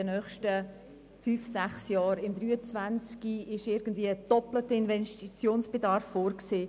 Für das Jahr2023 ist ein doppelter Investitionsbedarf vorgesehen.